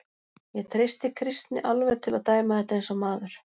Ég treysti Kristni alveg til að dæma þetta eins og maður.